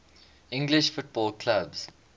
english football clubs